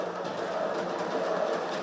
Qarabağ!